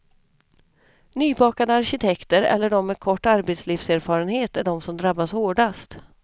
Nybakade arkitekter eller de med kort arbetslivserfarenhet är de som drabbas hårdast.